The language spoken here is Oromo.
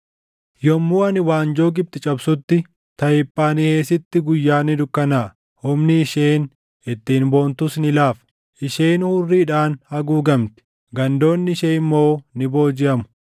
Yommuu ani waanjoo Gibxi cabsutti, Tahiphaanheesitti guyyaan ni dukkanaaʼa; humni isheen ittiin boontus ni laafa. Isheen hurriidhaan haguugamti; gandoonni ishee immoo ni boojiʼamu.